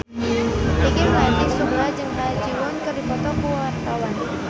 Peggy Melati Sukma jeung Ha Ji Won keur dipoto ku wartawan